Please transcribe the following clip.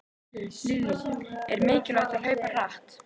Lillý: Er mikilvægt að hlaupa hratt?